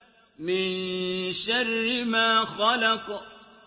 مِن شَرِّ مَا خَلَقَ